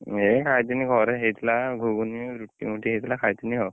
ଏଇ ଖାଇଥିନୀ ଘରେ ହେଇଥିଲା ଘୁଗୁନୀ, ଏମିତି ହେଇଥିଲା ଖାଇଥିନୀ ଆଉ,